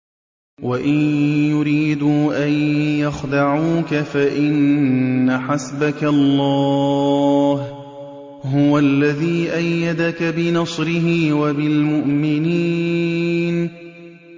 وَإِن يُرِيدُوا أَن يَخْدَعُوكَ فَإِنَّ حَسْبَكَ اللَّهُ ۚ هُوَ الَّذِي أَيَّدَكَ بِنَصْرِهِ وَبِالْمُؤْمِنِينَ